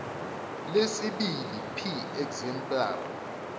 lesibili p exemplar